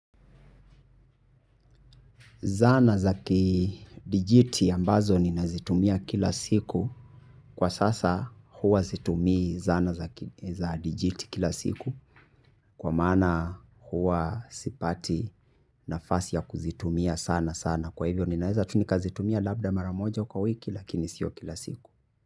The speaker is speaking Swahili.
Zana za kidijiti ambazo ninazitumia kila siku. Kwa sasa huwa situmii zana za kidijiti kila siku. Kwa maana huwa sipati nafasi ya kuzitumia sanasana. Kwa hivyo ninaweza tu nikazitumia labda mara moja kwa wiki lakini sio kila siku.